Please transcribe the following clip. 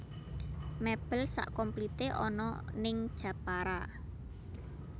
Mebel sak komplite ana ning Jepara